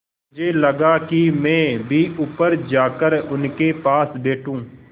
मुझे लगा कि मैं भी ऊपर जाकर उनके पास बैठूँ